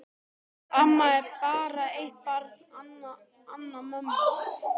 Amma á bara eitt barn, hana mömmu.